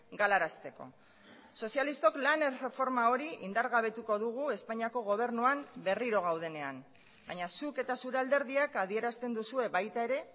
galarazteko sozialistok lan erreforma hori indargabetuko dugu espainiako gobernuan berriro gaudenean baina zuk eta zure alderdiak adierazten duzue baita ere